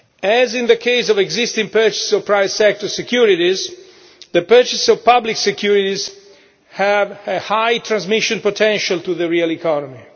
As in the case of existing purchases of private sector securities, the purchases of public securities have a high transmission potential to the real economy.